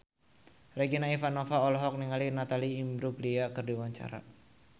Regina Ivanova olohok ningali Natalie Imbruglia keur diwawancara